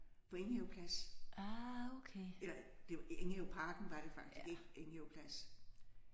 På Enghave Plads. Eller det var i Enghaveparken var det faktisk ikke Enghave Plads